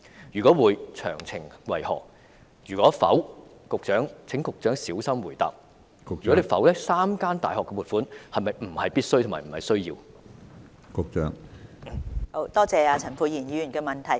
若會，詳情為何；若否——請局長小心回答 ——3 間大學的撥款是否並非必需，而是沒有需要的？